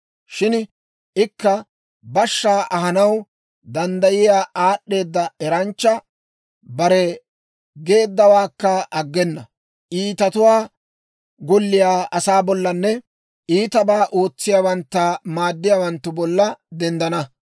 Shin ikka bashshaa ahanaw danddayiyaa aad'd'eeda eranchcha; bare geeddawaakka aggena; iitatuwaa golliyaa asaa bollanne iitabaa ootsiyaawantta maaddiyaawanttu bolla denddana.